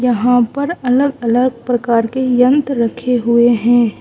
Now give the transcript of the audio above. यहां पर अलग अलग प्रकार के यंत्र रखे हुए है।